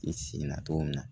I sin na cogo min na